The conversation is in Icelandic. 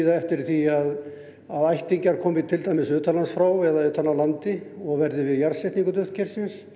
eftir því að ættingjar komi til dæmis utan frá eða utan frá landi og verði við jarðsetningu duftkers